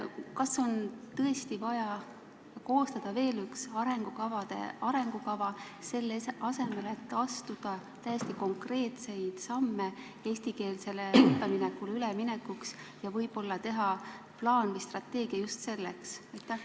Kas on tõesti vaja koostada veel üks arengukava, selle asemel et astuda täiesti konkreetseid samme eestikeelsele õppele üleminekuks ja võib-olla teha plaan või strateegia just selle tarbeks?